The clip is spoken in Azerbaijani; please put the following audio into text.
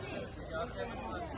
Ay canım, ay Allah!